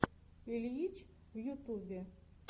ильич в ютубе